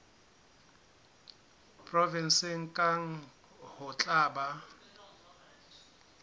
provenseng kang ho tla ba